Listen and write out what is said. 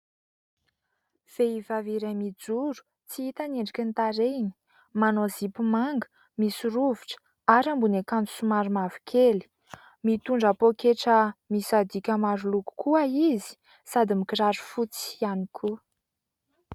Vehivavy iray mijoro. Tsy hita ny endriky ny tarehany. Manao zipo manga misy rovitra ary ambony ankanjo somary mavo kely. Mitondra poketra misadika maro loko koa izy sady mikiraro fotsy ihany koa.